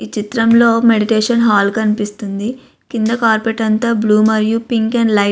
ఈ చిత్రంలో meditation hall కనిపిస్తుంది. కింద కార్పరేట్ అంతా బ్లూ మరియు పింక్ అండ్ లైట్ --